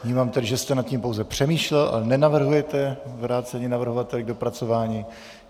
Vnímám tedy, že jste nad tím pouze přemýšlel, ale nenavrhujete vrácení navrhovateli k dopracování.